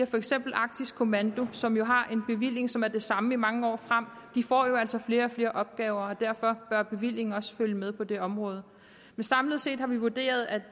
for eksempel arktisk kommando som har en bevilling som er det samme i mange år frem får jo altså flere og flere opgaver og derfor bør bevillingen også følge med på det område men samlet set har vi vurderet at